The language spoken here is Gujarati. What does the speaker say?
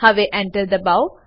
હવે Enter દબાઓ